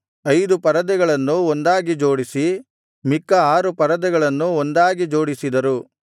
ಐದು ಪರದೆಗಳನ್ನು ಒಂದಾಗಿ ಜೋಡಿಸಿ ಮಿಕ್ಕ ಆರು ಪರದೆಗಳನ್ನೂ ಒಂದಾಗಿ ಜೋಡಿಸಿದರು